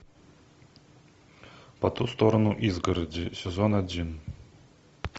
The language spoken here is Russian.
по ту сторону изгороди сезон один